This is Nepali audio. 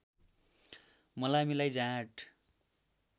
मलामीलाई जाँड